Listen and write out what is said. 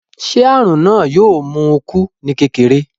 Ṣé àrùn náà yóò mú un kú ní kékeré?